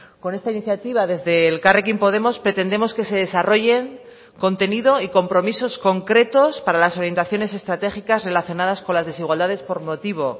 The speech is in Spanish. con esta iniciativa desde elkarrekin podemos pretendemos que se desarrollen contenido y compromisos concretos para las orientaciones estratégicas relacionadas con las desigualdades por motivo